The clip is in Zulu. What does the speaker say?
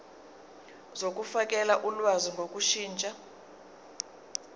zokufakela ulwazi ngokushintsha